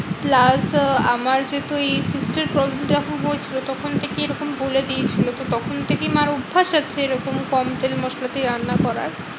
plus আমার যেহেতু ওই cyst এর problem টা যখন হয়েছিল তখন থেকে এরকম বলে দিয়েছিলো তো তখন থেকেই মার্ অভ্যাস আছে এরকম কম তেল মশলাতে রান্না করার।